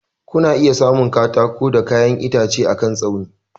Kuna iya samun katako da kayan itace akan tsauni.